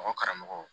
Mɔgɔ karamɔgɔ